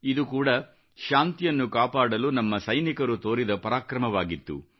ಇದು ಕೂಡಾ ಶಾಂತಿಯನ್ನು ಕಾಪಾಡಲು ನಮ್ಮ ಸೈನಿಕರು ತೋರಿದ ಪರಾಕ್ರಮವಾಗಿತ್ತು